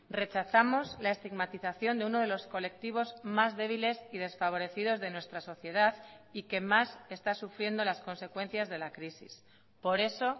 rechazamos la estigmatización de uno de los colectivos más débiles y desfavorecidos de nuestra sociedad y que más está sufriendo las consecuencias de la crisis por eso